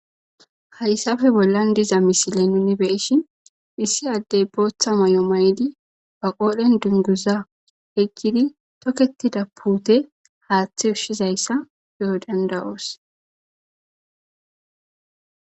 Haysape bollan diza misile nuuni be7ishin issi addee booththa mayuwaa mayidi ba qooren dungguzaa yeggidi thokeththida puuthe haaththe ushshizayssa be7o dadda7oos.